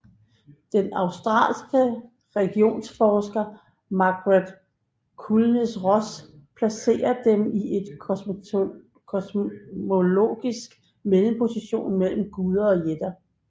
Den australske religionsforsker Margaret Clunies Ross placerer dem i en kosmologisk mellemposition mellem guder og jætter